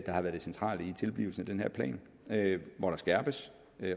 har været det centrale i tilblivelsen af den her plan hvor der skærpes